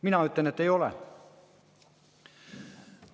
Mina ütlen, et ei ole.